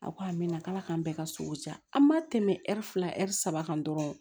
A ko a mɛna k'ala k'an bɛɛ ka sogo ja an ma tɛmɛ fila ɛri saba kan dɔrɔn